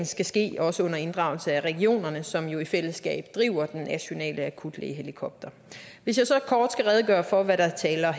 skal ske også under inddragelse af regionerne som jo i fællesskab driver de nationale akutlægehelikoptere hvis jeg så kort skal redegøre for hvad der taler